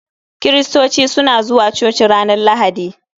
Kiristoci suna zuwa coci ranar Lahadi